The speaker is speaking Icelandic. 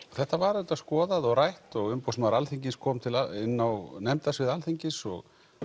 þetta var auðvitað skoðað og rætt og Umboðsmaður Alþingis kom inn á nefndarsvið Alþingis og